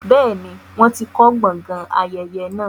bẹ́ẹ̀ni, wọ́n ti kọ gbọgán ayẹyẹ naa.